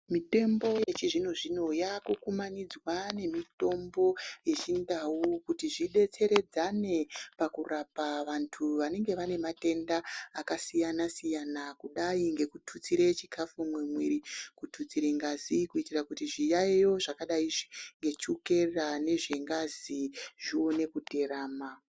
Mitombo yechizvino zvino yakukumanidzwa nemitombo yechindau kuti zvidetseredzane pakurapa vantu vanenge vane matenda akasiyana siyana kudai ngekututsire chikafu mumwiri kututsire ngazi kuitire kuti zviyayo zvakadai nechukera nezvengazi zvione kuterama .